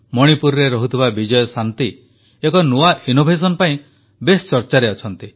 ମଣିପୁରରେ ରହୁଥିବା ବିଜୟଶାନ୍ତି ଏକ ନୂଆ ନବୋନ୍ମେଷ ପାଇଁ ବେଶ୍ ଚର୍ଚାରେ ଅଛନ୍ତି